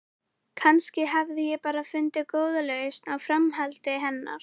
Kannski hafði ég bara fundið góða lausn á framhjáhaldi hennar.